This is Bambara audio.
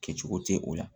Kɛcogo tɛ o la